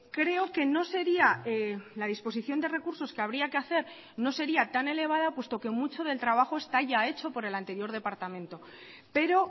creo que no sería la disposición de recursos que habría que hacer no sería tan elevada puesto que mucho del trabajo está ya hecho por el anterior departamento pero